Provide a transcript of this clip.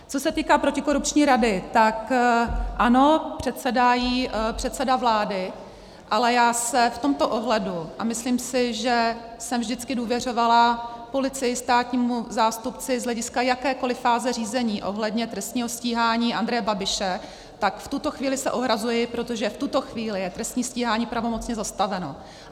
Co se týká protikorupční rady, tak ano, předsedá jí předseda vlády, ale já se v tomto ohledu, a myslím si, že jsem vždycky důvěřovala policii, státnímu zástupci z hlediska jakékoli fáze řízení ohledně trestního stíhání Andreje Babiše, tak v tuto chvíli se ohrazuji, protože v tuto chvíli je trestní stíhání pravomocně zastaveno.